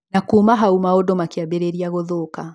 Na kuuma hau maũndũ makĩambĩrĩria gũthũka